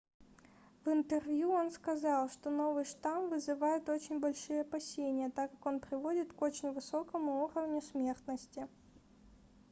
в интервью он сказал что новый штамм вызывает очень большие опасения так как он приводит к очень высокому уровню смертности